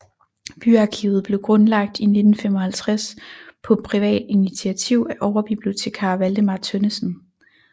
Byarkivet blev grundlagt i 1955 på privat initiativ af overbibliotekar Valdemar Tønnesen